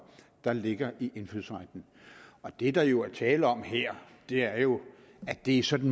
der ligger i indfødsretten det der jo er tale om her er jo at det sådan